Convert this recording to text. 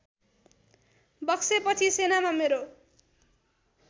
बक्सेपछि सेनामा मेरो